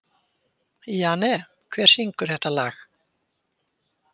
Jane, hver syngur þetta lag?